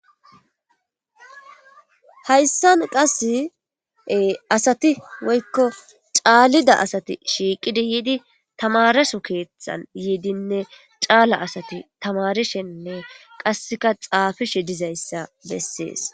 Hayssan qassi ee asati woykko caalida asati shiiqidi yidi taamereso keethan yidinne caala asati tamaarishenne qassika xaafishe dizayssa beesses.